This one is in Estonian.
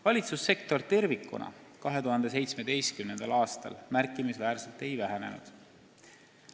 Valitsussektor tervikuna 2017. aastal märkimisväärselt ei vähenenud.